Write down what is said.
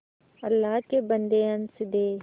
अल्लाह के बन्दे हंस दे